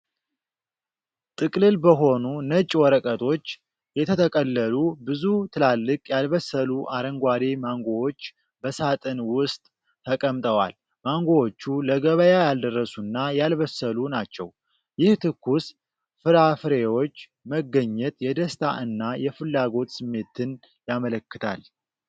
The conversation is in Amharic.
ጥቅልል በሆኑ ነጭ ወረቀቶች የተጠቀለሉ ብዙ ትላልቅ ያልበሰሉ አረንጓዴ ማንጎዎች በሳጥን ውስጥ ተቀምጠዋል። ማንጎዎቹ ለገበያ ያልደረሱና ያልበሰሉ ናቸው፣ ይህ ትኩስ ፍራፍሬዎች መገኘት የደስታ እና የፍላጎት ስሜትን ያመለክታል።